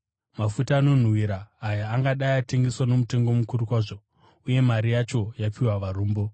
Mafuta anonhuhwira aya angadai atengeswa nomutengo mukuru kwazvo uye mari yacho yapiwa varombo.”